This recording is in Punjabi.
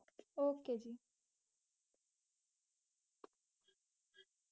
ok जी.